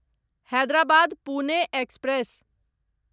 Hyderabad Pune express